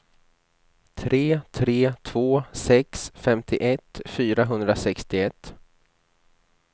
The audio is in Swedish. tre tre två sex femtioett fyrahundrasextioett